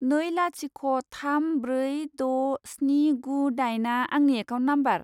नै लाथिख' थाम ब्रै द' स्नि गु दाइनआ आंनि एकाउन्ट नाम्बार।